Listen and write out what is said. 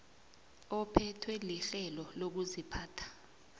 ephethwe lirhelo lokuziphatha